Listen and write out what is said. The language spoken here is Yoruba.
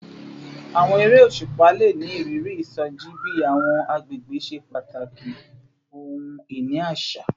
Awọn ere oṣupa le ni iriri isoji bi awọn agbegbe ṣe pataki ohun-ini aṣa